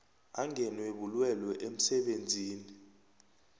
angenwe bulwelwe emsebenzini